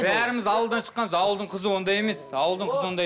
бәріміз ауылдан шыққанбыз ауылдың қызы ондай емес ауылдың қызы ондай